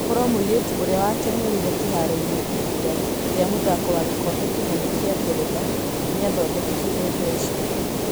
Korwo mũirĩtu ũrĩa wateng'erire kĩharoo-inĩ ihinda rĩa mũthako wa gĩkombe kĩnene kĩa ngeretha nĩathondokire mbeca